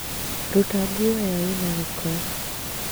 Ruta nguo ĩyo ĩna gĩko